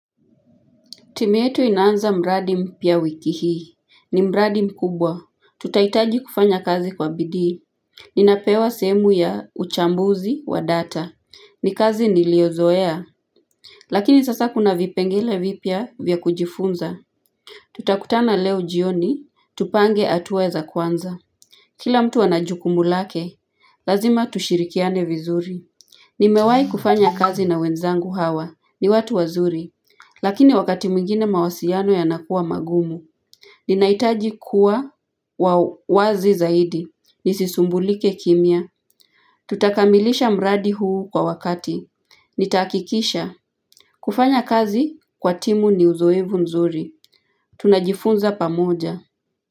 Timu yetu inanza mradi mpya wiki hii. Ni mradi mkubwa. Tutahitaji kufanya kazi kwa bidhii. Ninapewa sehemu ya uchambuzi wa data. Ni kazi niliyozoea. Lakini sasa kuna vipengele vipya vya kujifunza. Tutakutana leo jioni. Tupange hatua za kwanza. Kila mtu anajukumu lake. Lazima tushirikiane vizuri. Ni mewahi kufanya kazi na wenzangu hawa. Ni watu wazuri. Lakini wakati mwingine mawasiliano ya nakuwa magumu, ninahitaji kuwa wazi zaidi, nisisumbulike kimia. Tutakamilisha mradi huu kwa wakati, nitahakikisha. Kufanya kazi kwa timu ni uzoevu mzuri, tunajifunza pamoja.